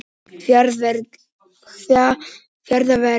Fjarðarvegi